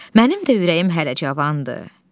Mənim də ürəyim hələ cavandır.